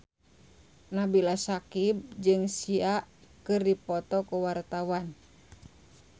Nabila Syakieb jeung Sia keur dipoto ku wartawan